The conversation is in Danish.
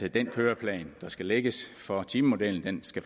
at den køreplan der skal lægges for timemodellen